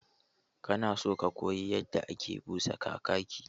Kana so ka koyi yadda ake busa Kakaki?